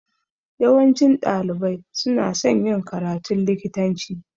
Yawancin ɗalibai suna son yin karatun likitanci